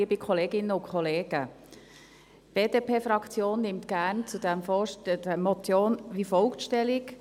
Die BDP-Fraktion nimmt zu dieser Motion gerne wie folgt Stellung.